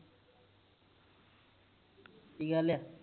ਕਿ ਗੱਲ ਆ